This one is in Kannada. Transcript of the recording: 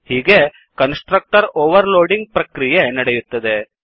ಹೀಗೆ ಕನ್ಸ್ ಟ್ರಕ್ಟರ್ ಓವರ್ ಲೋಡಿಂಗ್ ಪ್ರಕ್ರಿಯೆ ನಡೆಯುತ್ತದೆ